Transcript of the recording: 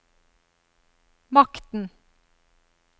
makten